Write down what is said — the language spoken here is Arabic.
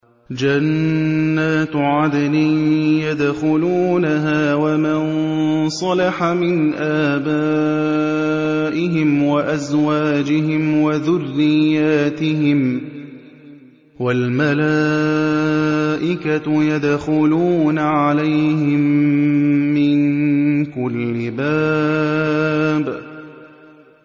جَنَّاتُ عَدْنٍ يَدْخُلُونَهَا وَمَن صَلَحَ مِنْ آبَائِهِمْ وَأَزْوَاجِهِمْ وَذُرِّيَّاتِهِمْ ۖ وَالْمَلَائِكَةُ يَدْخُلُونَ عَلَيْهِم مِّن كُلِّ بَابٍ